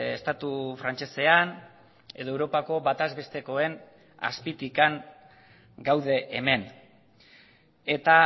estatu frantsesean edo europako bataz bestekoen azpitik gaude hemen eta